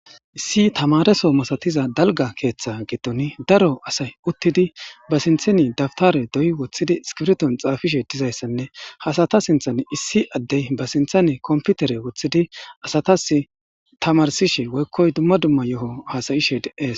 Issi tamaareso masatiza dalgga keeththa gidon daro asay uttidi ba sintheni daptare dooyi woththidi iskiriton xaafishe dizayssanne ha asata sinthan issi addey ba sinthani kompitere woththidi asatasi tamaarsishe woykkoy dumma dumma yoho hasa'ishe de'es.